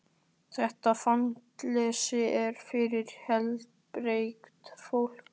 Þetta fangelsi er fyrir heilbrigt fólk.